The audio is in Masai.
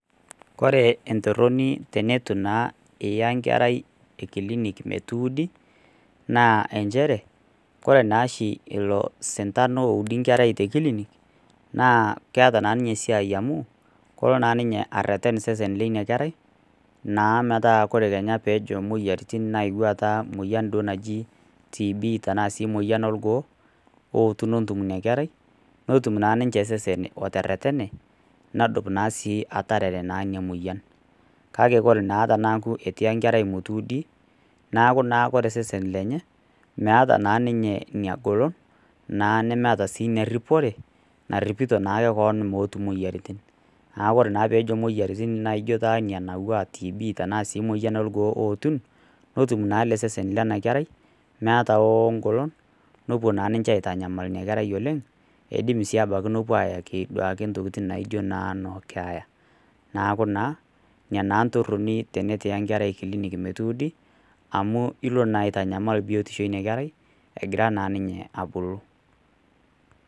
Ore entoroni tenetu iya naa enkerai kilinik metuudi, naa nchere ore ilo sintado oshi oudi nkerai tekilinik naa keeta ninye siai amu, kelo ninye areten ilo seseni lina kera ,metaa tenaaketii kenya moyiaritin nayeuo tena duo moyian naji TB tenaa sii moyian orgoo ootun atum ina kerai, natum ninche seseni ateretene nedum naa ninye ina moyian. Kake ore naa pee eitu iya nkerai metuudi, neeku naa ore seseni lenye, meeta naa ninye ina golon naa nemeeta ina ripore, naripita naake keon meetu moyiaritin. Neeku tenejo naa moyiaritin aatiu enaa nena ana TB Ann lorgoo aetun ,netum naa sesen lena kerai meeta naa ninye ngolon, nepuo naa aitanyamal ina kerai oleng, eidim naa shake nepuo naa ayaki ntokiting naijo noo keya .Neeku naa ina entoroni tenetum iya enkerai kilinik metuudi amu ilo na aitanyamal biotisho ina kerai egira naa ninye abulu.